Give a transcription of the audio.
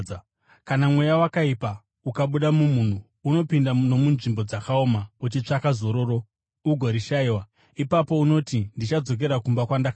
“Kana mweya wakaipa ukabuda mumunhu, unopinda nomunzvimbo dzakaoma uchitsvaka zororo ugorishayiwa. Ipapo unoti, ‘Ndichadzokera kumba kwandakabva.’